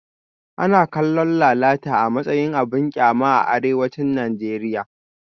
Ana kallon lalata a matsayin abin kyama a arewacin Najeriya